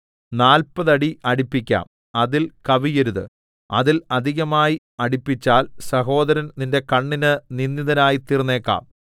നാല്പത് അടി അടിപ്പിക്കാം അതിൽ കവിയരുത് അതിൽ അധികമായി അടിപ്പിച്ചാൽ സഹോദരൻ നിന്റെ കണ്ണിന് നിന്ദിതനായിത്തീർന്നേക്കാം